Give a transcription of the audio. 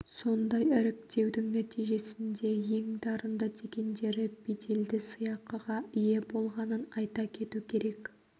сондай іріктеудің нәтижесінде ең дарынды дегендері беделді сыйақыға ие болғанын айта кету керек